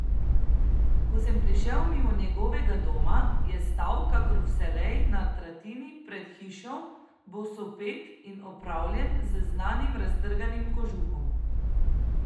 Ko sem prišel mimo njegovega doma, je stal kakor vselej na tratini pred hišo, bosopet in opravljen z znanim raztrganim kožuhom.